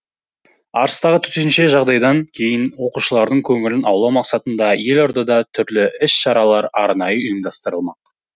арыстағы төтенше жағдайдан кейін оқушылардың көңілін аулау мақсатында елордада түрлі іс шаралар арнайы ұйымдастырылмақ